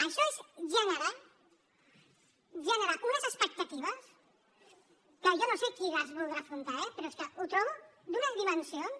això és generar unes expectatives que jo no sé qui les voldrà afrontar eh però és que ho trobo d’unes dimensions